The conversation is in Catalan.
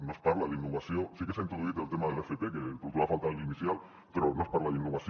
no es parla d’innovació sí que s’ha introduït el tema de l’fp que trobava a faltar en la inicial però no es parla d’innovació